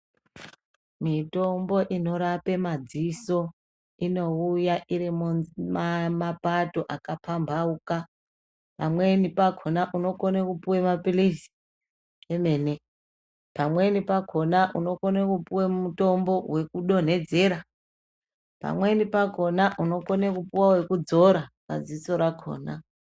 Mitombo inorape madziso inouya iri mumapato akapambauka. Pamweni pakona unokone kupuwa maphilizi emene, pamweni pakona unokone kupuwa mutombo wekudonhedzera, pamweni pakona unokone kupuwa wekudzora padziso rakona.